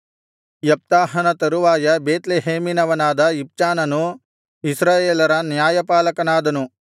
ಯೆಪ್ತಾಹನ ತರುವಾಯ ಬೇತ್ಲೆಹೇಮಿನವನಾದ ಇಬ್ಚಾನನು ಇಸ್ರಾಯೇಲರ ನ್ಯಾಯಪಾಲಕನಾದನು